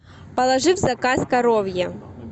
положи в заказ коровье